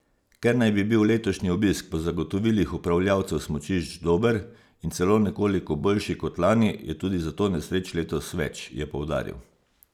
Ker naj bi bil letošnji obisk po zagotovilih upravljavcev smučišč dober in celo nekoliko boljši kot lani, je tudi zato nesreč letos več, je poudaril.